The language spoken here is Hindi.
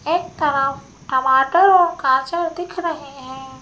एक तरफ टमाटर और गाजर दिख रहे हैं।